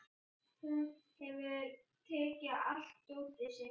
Hún hefur tekið allt dótið sitt.